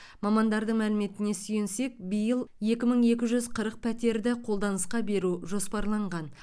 мамандардың мәліметіне сүйенсек биыл екі мың екі жүз қырық пәтерді қолданысқа беру жоспарланған